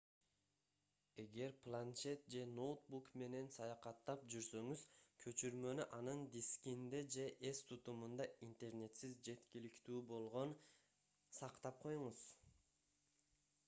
эгер планшет же ноутбук менен саякаттап жүрсөңүз көчүрмөнү анын дискинде же эс тутумунда интернетсиз жеткиликтүү болгон сактап коюңуз